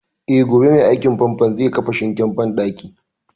Eh, gobe mai aikin fanfon zai kafa sinkin banɗakin